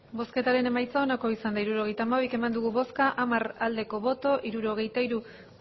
hirurogeita hamabi eman dugu bozka hamar bai hirurogeita hiru